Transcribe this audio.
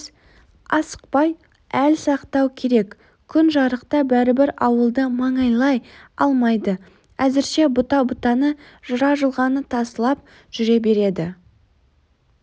асықпай әл сақтау керек күн жарықта бәрібір ауылды маңайлай алмайды әзірше бұта-бұтаны жыра-жылғаны тасалап жүре береді